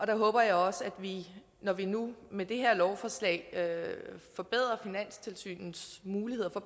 der håber jeg også at vi når vi nu med det her lovforslag forbedrer finanstilsynets muligheder for